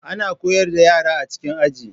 Ana koyar da yara a cikin Aji